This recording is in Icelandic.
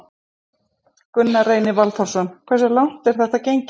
Gunnar Reynir Valþórsson: Hversu langt er þetta gengið?